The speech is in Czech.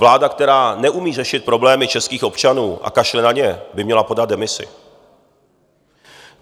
Vláda, která neumí řešit problémy českých občanů a kašle na ně, by měla podat demisi.